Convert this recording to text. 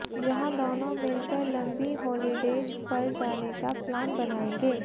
जहां दोनों मिलकर लंबी हॉलीडेज़ पर जाने का प्लान बनाएंगे